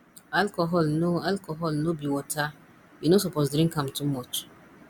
alcohol no alcohol no be water you no suppose drink am too much